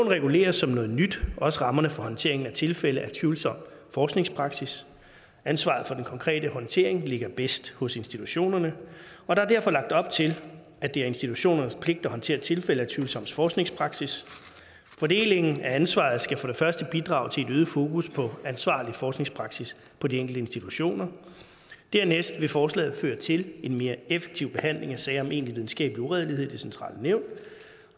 regulerer som noget nyt også rammerne for håndteringen af tilfælde af tvivlsom forskningspraksis ansvaret for den konkrete håndtering ligger bedst hos institutionerne og der er derfor lagt op til at det er institutionernes pligt at håndtere tilfælde af tvivlsom forskningspraksis fordelingen af ansvaret skal for det første bidrage til et øget fokus på ansvarlig forskningspraksis på de enkelte institutioner dernæst vil forslaget føre til en mere effektiv behandling af sager om egentlig videnskabelig uredelighed i det centrale nævn